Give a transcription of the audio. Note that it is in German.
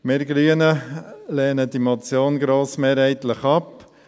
Wir Grünen lehnen diese Motion grossmehrheitlich ab.